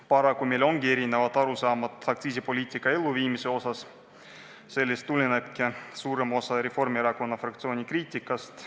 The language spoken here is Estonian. Paraku meil on erinevad arusaamad aktsiisipoliitika elluviimisest ja sellest tulenebki suurem osa Reformierakonna fraktsiooni kriitikast.